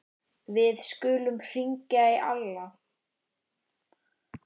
Við skulum hringja í Alla.